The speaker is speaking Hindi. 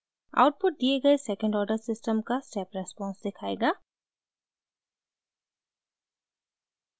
आउटपुट दिए गए सेकंड ऑर्डर सिस्टम का step response दिखायेगा